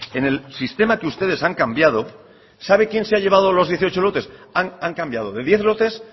en el sistema que ustedes han cambiado sabe quién se ha llevado los dieciocho lotes han cambiado de diez lotes